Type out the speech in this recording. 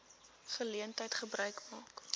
geleentheid gebruik maak